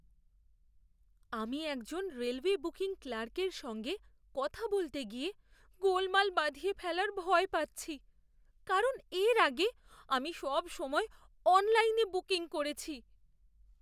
আমি একজন railway booking ক্লার্কের সঙ্গে কথা বলতে গিয়ে গোলমাল বাধিয়ে ফেলার ভয় পাচ্ছি, কারণ এর আগে আমি সবসময় অনলাইনে বুকিং করেছি।